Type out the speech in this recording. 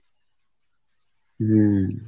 হুম ।